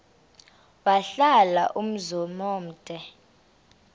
wahlala umzum omde